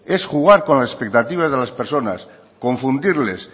es jugar con la expectativa de las personas confundirles